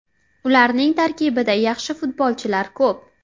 Ularning tarkibida yaxshi futbolchilar ko‘p.